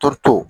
Toto